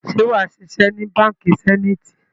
Ṣé wàá ṣiṣẹ́ ni Báńkì Zenith?